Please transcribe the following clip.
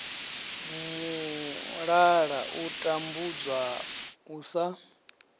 mulala u tambudzwa u sa